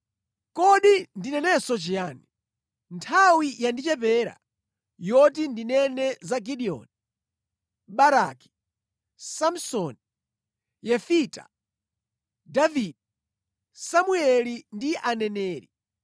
Kodi ndinenenso chiyani? Nthawi yandichepera yoti ndinene za Gideoni, Baraki, Samsoni, Yefita, Davide, Samueli ndi aneneri,